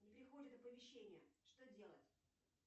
не приходят оповещения что делать